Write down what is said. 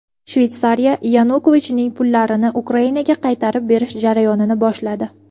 Shveysariya Yanukovichning pullarini Ukrainaga qaytarib berish jarayonini boshladi.